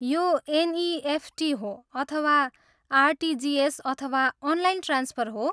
यो एनइएफटी हो अथवा आरटिजिएस अथवा अनलाइन ट्रान्सफर हो?